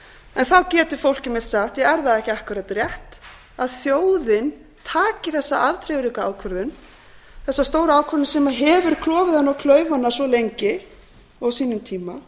en þá geti fólk einmitt sagt já er það það ekki akkúrat rétt að þjóðin taki þessa afdrifaríku ákvörðun þessa stóru ákvörðun sem hefur klofið hana og klauf hana svo lengi á sínum tíma